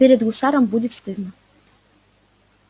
перед гусаром будет стыдно